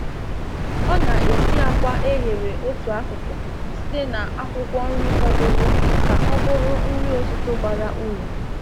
Ọ na-esi akwa e ghere otu akụkụ site na akwụkwọ nri fọdụrụ ka ọ bụrụ nri ụtụtụ bara uru.